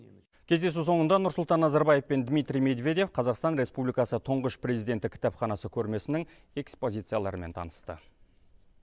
кездесу соңында нұрсұлтан назарбаев пен дмитрий медведев қазақстан республикасы тұңғыш президенті кітапханасы көрмесінің экспозицияларымен танысты